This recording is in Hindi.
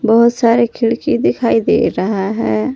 बहुत सारे खिड़की दिखाई दे रहा है।